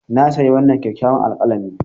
Na sayi wannan kyakkyawan alkalami.